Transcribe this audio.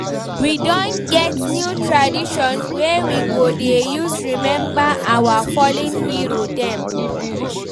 We don get new tradition wey we go dey use rememba our fallen hero dem.